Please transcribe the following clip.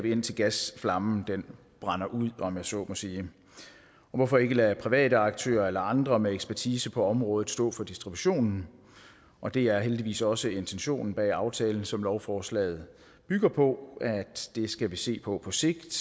indtil gasflammen brænder ud om jeg så må sige hvorfor ikke lade private aktører eller andre med ekspertise på området stå for distributionen og det er heldigvis også intentionen bag aftalen som lovforslaget bygger på at det skal vi se på på sigt